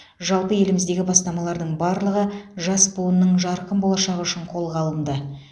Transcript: жалпы еліміздегі бастамалардың барлығы жас буынның жарқын болашағы үшін қолға алынды